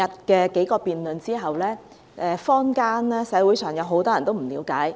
經過昨天數項辯論，社會上有很多人對辯論不了解。